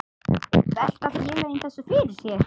Velta félögin þessu fyrir sér?